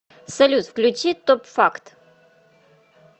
салют включи топ факт